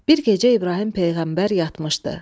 Bir gecə İbrahim peyğəmbər yatmışdı.